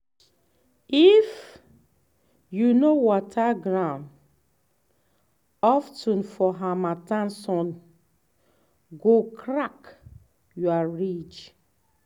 if you no water ground of ten for harmattan sun go crack your ridge.